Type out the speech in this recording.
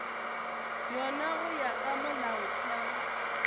yona go ya ka molaotheo